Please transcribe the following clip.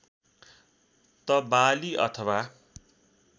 त बाली अथवा